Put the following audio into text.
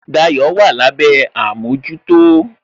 Dayo wà lábé àmójútó